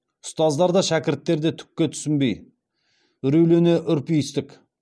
ұстаздар да шәкірттер де түкке түсінбей үрейлене үрпиістік